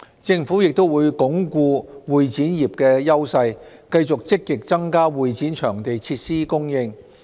政府亦會鞏固會展業的優勢，繼續積極增加會展場地設施供應。